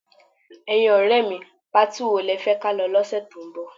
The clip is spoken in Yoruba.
Ẹ̀yin ọ̀rẹ́ mi, patí wo lẹ fẹ́ ka lọ lọ́sẹ̀ tó ń bọ̀?